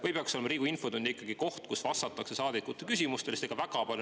Või peaks Riigikogu infotund olema ikkagi koht, kus vastatakse saadikute küsimustele?